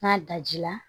N'a daji la